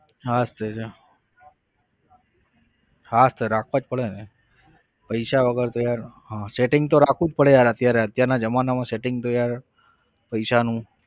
હા તો જો હા જ તો રાખવા જ પડે ને પૈસા વગર તો યાર હા setting તો રાખવું જ પડે યાર અત્યારે અત્યારના જમાનામાં setting તો યાર પૈસાનું.